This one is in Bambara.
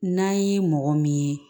N'an ye mɔgɔ min ye